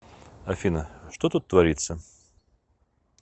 афина что тут творится